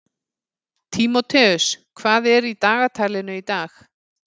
Tímóteus, hvað er í dagatalinu í dag?